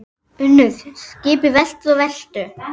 UNNUR: Skipið veltur og veltur.